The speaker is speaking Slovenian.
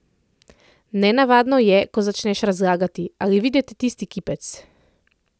Nenavadno je, ko začneš razlagati: 'Ali vidite tisti kipec?